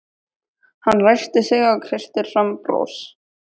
Hann ræskir sig og kreistir fram bros.